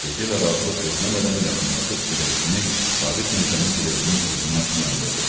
Dedi və razılıq gözləmədən yaxınlaşıb siqaretini Sabit Mirzənin siqaretinin oduna yandırdı.